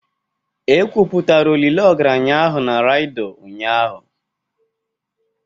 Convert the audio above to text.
E kwuputara olili ogaranya ahụ na raido ụnyahụ